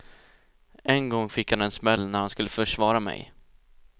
En gång fick han en smäll när han skulle försvara mig.